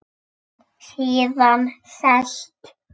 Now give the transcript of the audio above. Síðan sest